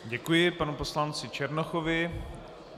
Děkuji panu poslanci Černochovi.